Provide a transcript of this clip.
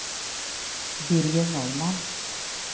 Birger Norman